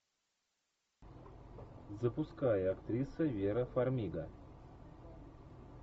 запускай актриса вера фармига